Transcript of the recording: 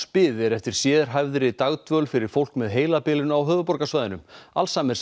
bið er eftir sérhæfðri dagdvöl fyrir fólk með heilabilun á höfuðborgarsvæðinu